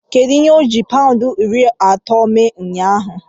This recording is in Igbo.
Kedu ihe oji paụndị iri atọ mee ụnyaahụ?